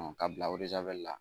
Ka bila la.